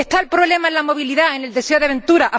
¿Está el problema en la movilidad, en el deseo de aventura?